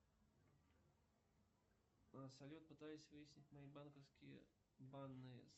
салют пытаюсь выяснить мои банковские данные